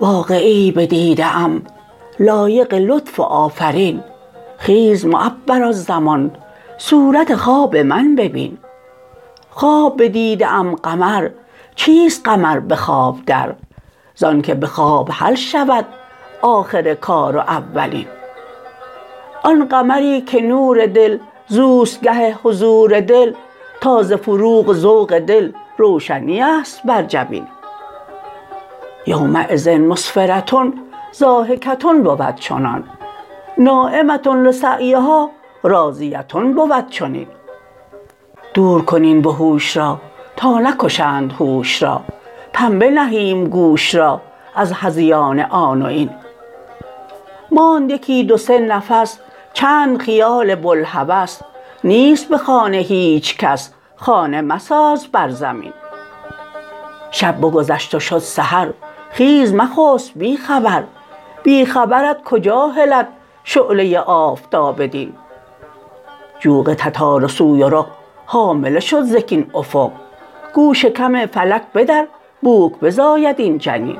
واقعه ای بدیده ام لایق لطف و آفرین خیز معبرالزمان صورت خواب من ببین خواب بدیده ام قمر چیست قمر به خواب در زانک به خواب حل شود آخر کار و اولین آن قمری که نور دل زو است گه حضور دل تا ز فروغ و ذوق دل روشنی است بر جبین یومیذ مسفره ضاحکه بود چنان ناعمه لسعیها راضیه بود چنین دور کن این وحوش را تا نکشند هوش را پنبه نهیم گوش را از هذیان آن و این ماند یکی دو سه نفس چند خیال بوالهوس نیست به خانه هیچ کس خانه مساز بر زمین شب بگذشت و شد سحر خیز مخسب بی خبر بی خبرت کجا هلد شعله آفتاب دین جوق تتار و سویرق حامله شد ز کین افق گو شکم فلک بدر بوک بزاید این جنین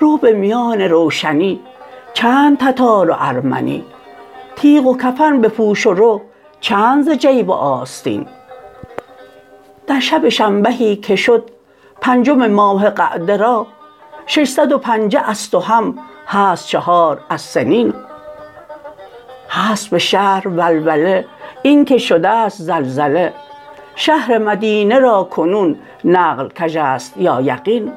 رو به میان روشنی چند تتار و ارمنی تیغ و کفن بپوش و رو چند ز جیب و آستین در شب شنبهی که شد پنجم ماه قعده را ششصد و پنجه ست و هم هست چهار از سنین هست به شهر ولوله این که شده ست زلزله شهر مدینه را کنون نقل کژ است یا یقین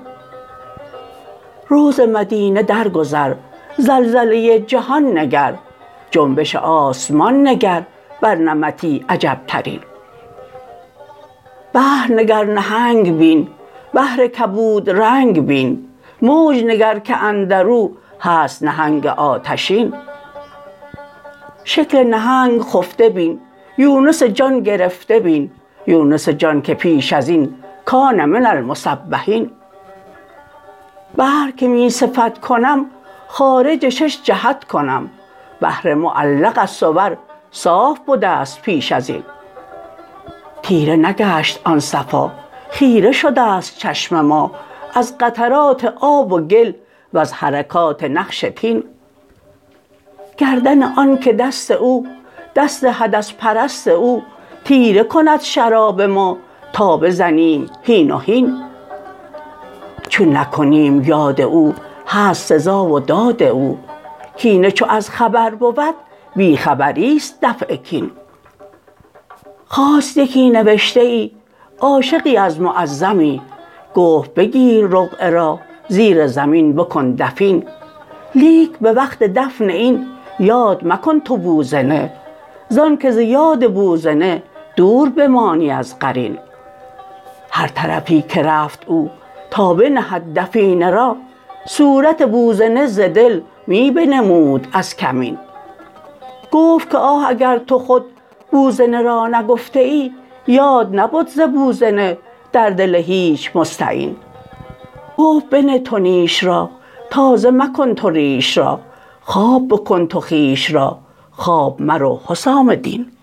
رو ز مدینه درگذر زلزله جهان نگر جنبش آسمان نگر بر نمطی عجبترین بحر نگر نهنگ بین بحر کبودرنگ بین موج نگر که اندر او هست نهنگ آتشین شکل نهنگ خفته بین یونس جان گرفته بین یونس جان که پیش از این کان من المسبحین بحر که می صفت کنم خارج شش جهت کنم بحر معلق از صور صاف بده ست پیش از این تیره نگشت آن صفا خیره شده ست چشم ما از قطرات آب و گل وز حرکات نقش طین گردن آنک دست او دست حدث پرست او تیره کند شراب ما تا بزنیم هین و هین چون نکنیم یاد او هست سزا و داد او کینه چو از خبر بود بی خبری است دفع کین خواست یکی نوشته ای عاشقی از معزمی گفت بگیر رقعه را زیر زمین بکن دفین لیک به وقت دفن این یاد مکن تو بوزنه زانک ز یاد بوزنه دور بمانی از قرین هر طرفی که رفت او تا بنهد دفینه را صورت بوزنه ز دل می بنمود از کمین گفت که آه اگر تو خود بوزنه را نگفتیی یاد نبد ز بوزنه در دل هیچ مستعین گفت بنه تو نیش را تازه مکن تو ریش را خواب بکن تو خویش را خواب مرو حسام دین